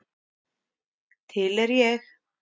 Til er ég.